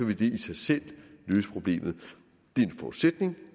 vil det i sig selv løse problemet det er en forudsætning